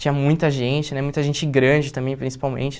Tinha muita gente né, muita gente grande também, principalmente.